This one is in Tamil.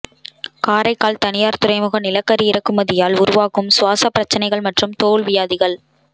காரைக்கால் தனியார் துறைமுக நிலக்கரி இறக்குமதியால் உருவாகும் சுவாச பிரச்சனைகள் மற்றும் தோல் வியாதிகள்